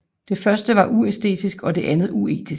Det første var uæstetisk og det andet uetisk